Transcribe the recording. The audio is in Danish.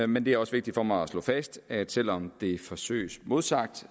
men det er også vigtigt for mig at slå fast at selv om det forsøges modsagt